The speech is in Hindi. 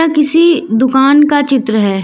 किसी दुकान का चित्र है।